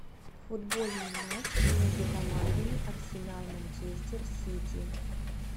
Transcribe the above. футбольный матч между командами арсенал манчестер сити